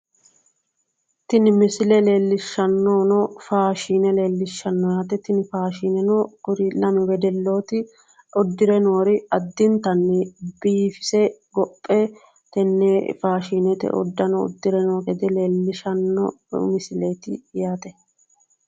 Tini misile leellishshannohuno faashine leellishshanno yaate tini faashineno kuri lamu wedellooti uddire noori addintanni biifise gophe tenne faashinete uddano uddire noo gede leellishshanno misileeti yaate.